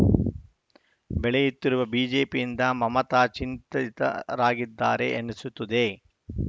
ಬೆಳೆಯುತ್ತಿರುವ ಬಿಜೆಪಿಯಿಂದ ಮಮತಾ ಚಿಂತಿತರಾಗಿದ್ದಾರೆ ಎನಿಸುತ್ತದೆ